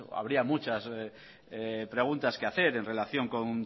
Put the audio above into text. habría muchas preguntas que hacer en relación